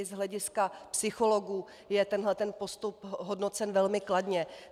I z hlediska psychologů je tenhle postup hodnocen velmi kladně.